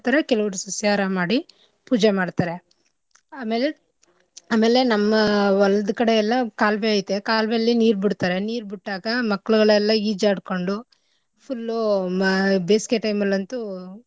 ಕೆಲವ್ರು ಸಸ್ಯಾಹಾರ ಮಾಡಿ ಪೂಜೆ ಮಾಡ್ತರೆ. ಆಮೇಲೆ ಆಮೇಲೆ ನಮ್ಮ ಹೊಲ್ದ್ ಕಡೆ ಎಲ್ಲಾ ಕಾಲುವೆ ಐತೆ ಕಾಲುವೆಲಿ ನೀರ್ ಬಿಡ್ತರೆ ನೀರ್ ಬಿಟ್ಟಾಗ ಮಕ್ಳುಗಳೆಲ್ಲಾ ಈಜಾಡ್ಕೊಂಡು full ಉ ಮ~ ಬೇಸಿಗೆ time ಅಲ್ ಅಂತೂ.